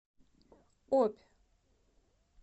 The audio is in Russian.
обь